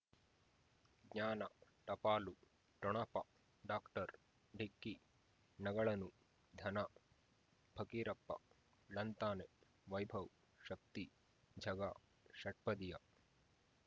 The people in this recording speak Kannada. ಜ್ಞಾನ ಟಪಾಲು ಠೊಣಪ ಡಾಕ್ಟರ್ ಢಿಕ್ಕಿ ಣಗಳನು ಧನ ಫಕೀರಪ್ಪ ಳಂತಾನೆ ವೈಭವ್ ಶಕ್ತಿ ಝಗಾ ಷಟ್ಪದಿಯ